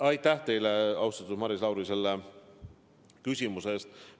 Aitäh teile, austatud Maris Lauri, selle küsimuse eest!